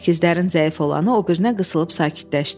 Əkizlərin zəif olanı o birinə qısılıb sakitləşdi.